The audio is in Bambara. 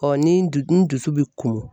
Ɔ ni du ni dusu bɛ kumun.